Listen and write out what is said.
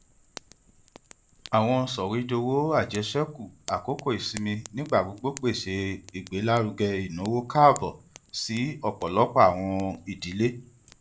awọn sọwedowo ajeseku akoko isinmi nigbagbogbo pese igbelaruge inawo kaabo si ọpọlọpọ awọn idile